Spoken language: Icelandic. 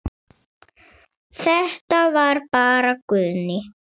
Þetta var bara Guðný.